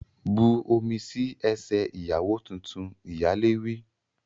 Bu omi sí ẹsẹ̀ ìyàwó tuntun! Ìyálé wí.